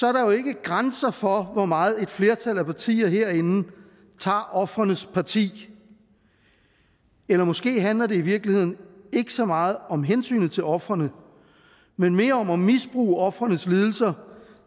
er der jo ikke grænser for hvor meget et flertal af partier herinde tager ofrenes parti eller måske handler det i virkeligheden ikke så meget om hensynet til ofrene men mere om at misbruge ofrenes lidelser